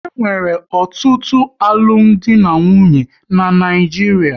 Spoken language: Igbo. E nwere ọtụtụ alụmdi na nwunye n'Naijiria